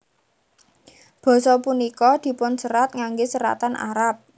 Basa punika dipunserat ngangge seratan Arab